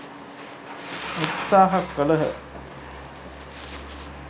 උත්සාහ කළහ.